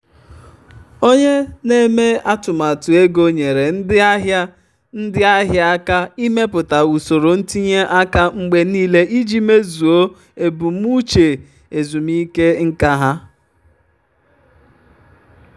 onye na-eme atụmatụ ego nyeere ndị ahịa ndị ahịa aka ịmepụta usoro ntinye aka mgbe niile iji mezuo ebumnuche ezumike nka ha.